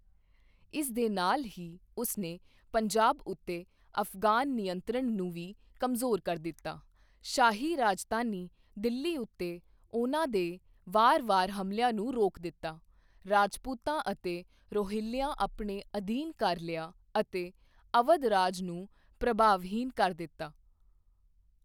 ਇਸ ਦੇ ਨਾਲ ਹੀ, ਉਸਨੇ ਪੰਜਾਬ ਉੱਤੇ ਅਫਗਾਨ ਨਿਯੰਤਰਣ ਨੂੰ ਵੀ ਕਮਜ਼ੋਰ ਕਰ ਦਿੱਤਾ, ਸ਼ਾਹੀ ਰਾਜਧਾਨੀ ਦਿੱਲੀ ਉੱਤੇ ਉਨ੍ਹਾਂ ਦੇ ਵਾਰ ਵਾਰ ਹਮਲਿਆਂ ਨੂੰ ਰੋਕ ਦਿੱਤਾ, ਰਾਜਪੂਤਾਂ ਅਤੇ ਰੋਹੀਲਿਆਂ ਆਪਣੇ ਅਧੀਨ ਕਰ ਲਿਆ ਅਤੇ ਅਵਧ ਰਾਜ ਨੂੰ ਪ੍ਰਭਾਵਹੀਣ ਕਰ ਦਿੱਤਾ।